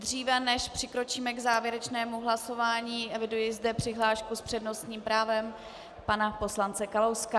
Dříve než přikročíme k závěrečnému hlasování, eviduji zde přihlášku s přednostním právem pana poslance Kalouska.